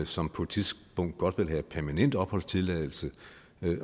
som på et tidspunkt godt vil have permanent opholdstilladelse